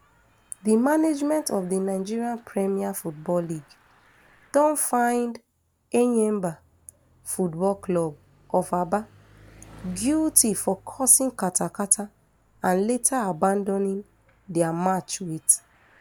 di management of di nigeria premier football league don find enyimba football club of aba guilty for causing katakata and later abandoning dia match wit